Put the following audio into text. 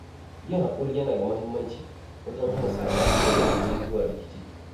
Yin hakuri yana da muhimmanci wajen hana saɓani ya rikiɗe zuwa rikici.